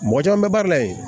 Mɔgɔ caman bɛ baara la yen